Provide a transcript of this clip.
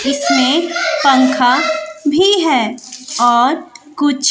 इसमें पंखा भी है और कुछ --